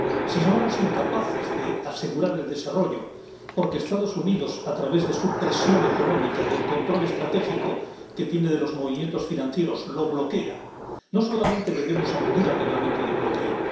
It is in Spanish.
Si somos incapaces de asegurar el desarrollo porque Estados Unidos a través de su presión económica, del control estratégico que tiene de los movimientos financieros, lo bloquea, no solamente debemos acudir al Reglamento de bloqueo.